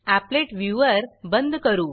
applet viewer बंद करू